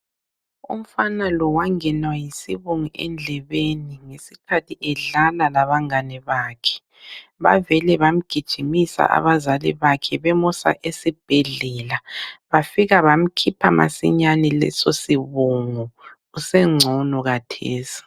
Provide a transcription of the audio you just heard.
Umfana lo wangenwa yisibungu endlebeni ngesikhathi edlala labangane bakhe. Bavele bamgijimisa abazali bakhe bemusa esibhedlela bafika bamkhipha masinyane leso sibungu usengcono khathesi.